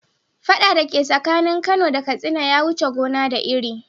Fada dake tsakanin kano da katsina ya wuce gona da iri.